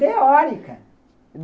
Teórica!